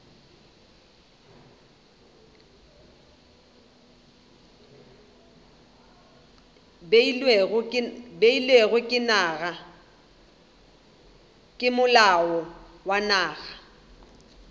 beilwego ke molao wa naga